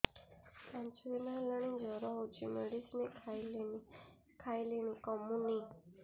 ପାଞ୍ଚ ଦିନ ହେଲାଣି ଜର ହଉଚି ମେଡିସିନ ଖାଇଲିଣି କମୁନି